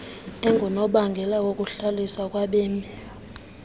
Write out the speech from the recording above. engunobangela wokuhlaliswa kwabemi